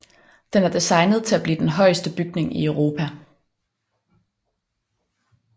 Den er designet til at blive den højeste bygning i Europa